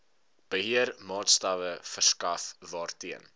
beheermaatstawwe verskaf waarteen